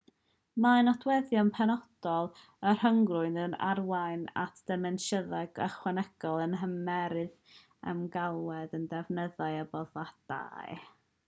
mae nodweddion penodol y rhyngrwyd yn arwain at ddimensiynau ychwanegol yn nhermau'r ymagwedd at ddefnyddiau a boddhadau